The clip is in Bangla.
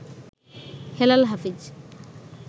হেলাল হাফিজ